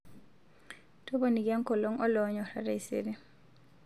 toponiki enkolong oloonyorra taisere